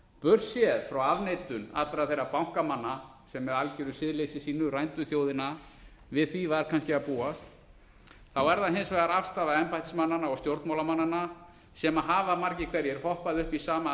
staðreynd burtséð frá afneitun allra þeirra bankamanna sem með algeru siðleysi sínu rændu þjóðina við því var kannski að búast er það hins vegar afstaða embættismannanna og stjórnmálamannanna sem hafa margir hverjir hoppað